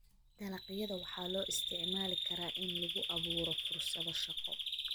Dalagyada waxaa loo isticmaali karaa in lagu abuuro fursado shaqo.